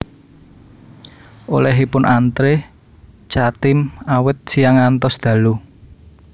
Olehipun antre Chatime awit siyang ngantos dalu